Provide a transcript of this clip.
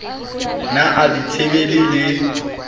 ne a di tsebile le